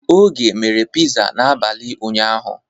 Oge mere Piza n'abalị ụnyaahụ.